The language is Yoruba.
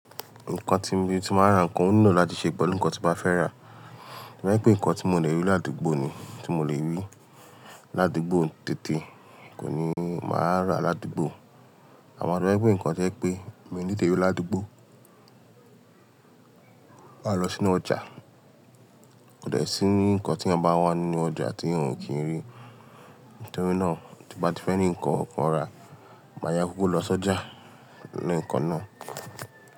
Nǹkan tí mo ti máa ń ra, nǹkan onilo áti ṣe pẹ̀lú ǹkan tí mo bá fẹ́ rà. To ba je ǹkan tí mò lórí àdúgbò ni, tí mò lè ríi àdúgbò tètè, máa rà ni àdúgbò to je wípé nǹkan to jẹ́ pé mi ò ní tètè ri ládùúgbò. Máa lọ sínú ọjà, kò de sí ní nǹkan tí eyan bá n wà nínú ọjà tí n ò kí n rí. Nítorí náà tí mo bá ti fẹ́ ní nǹkan kan rà, màá yá kukuk lọ sọ́jà le kan náà.